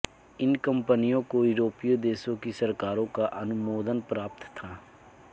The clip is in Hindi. इन कंपनियों को यूरोपीय देशों की सरकारों का अनुमोदन प्राप्त था